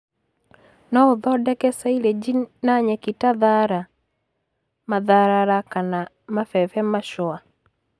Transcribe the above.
No ũthondeke saileji na nyeki ta thara, matharara kana mabebe macũa